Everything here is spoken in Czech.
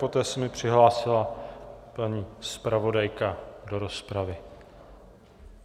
Poté se mi přihlásila paní zpravodajka do rozpravy.